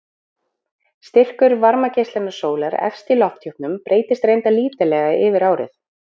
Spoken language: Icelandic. Styrkur varmageislunar sólar efst í lofthjúpnum breytist reyndar lítillega yfir árið.